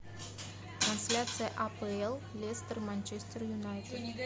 трансляция апл лестер манчестер юнайтед